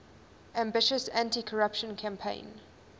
ambitious anticorruption campaign